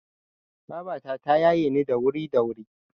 Babata ta yaye ni da wuri da wuri.